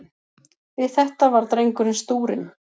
Við þetta varð drengurinn stúrinn.